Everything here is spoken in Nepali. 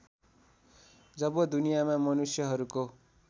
जब दुनियाँमा मनुष्यहरूको